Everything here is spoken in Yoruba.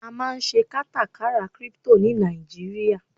a ma n se katakara crypto ni Naijiria